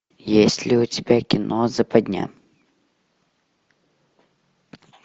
есть ли у тебя кино западня